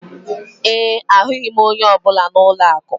ee, ahụghị m onye ọ bụla na ụlọ akụ